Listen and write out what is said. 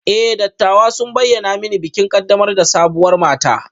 E, dattawan sun bayyana mani bikin ƙaddamar da sabuwar mata